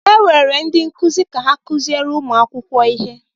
E were ndị nkụzi ka ha kụziere ụmụ akwụkwọ ihe.